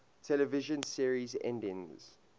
television series endings